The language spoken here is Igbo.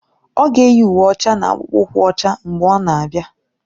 Ọ ga-eyi uwe ọcha na akpụkpọ ụkwụ ọcha mgbe ọ na-abịa